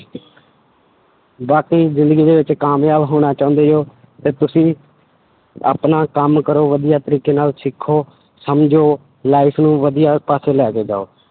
ਬਾਕੀ ਜ਼ਿੰਦਗੀ ਦੇ ਵਿੱਚ ਕਾਮਯਾਬ ਹੋਣਾ ਚਾਹੁੰਦੇ ਹੋ ਤੇ ਤੁਸੀਂ ਆਪਣਾ ਕੰਮ ਕਰੋ ਵਧੀਆ ਤਰੀਕੇ ਨਾਲ ਸਿੱਖੋ, ਸਮਝੋ life ਨੂੰ ਵਧੀਆ ਪਾਸੇ ਲੈ ਕੇ ਜਾਓ